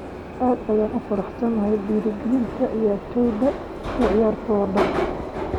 Aad ayaan ugu faraxsanahay dhiirrigelinta ciyaartoyda iyo ciyaartooda.